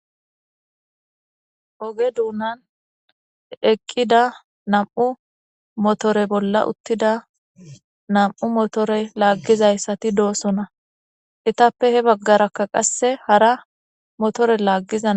oge duunan eqqida nam7u motore bolla uttida nam7u motore laaggizayssati doosona etappe he baggarakka qasse hara motore laaggizana